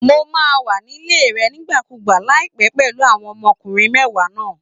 Mo máa wà nílé rẹ nígbàkúùgbà láìpẹ́ pẹ̀lú àwọn ọmọkùnrin mẹ́wàá náà